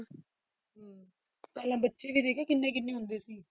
ਪਹਿਲਾਂ ਬੱਚੇ ਵੀ ਦੇਖਿਆ ਕਿੰਨੇ ਕਿੰਨੇ ਹੁੰਦੇ ਸੀ।